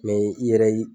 i yɛrɛ ye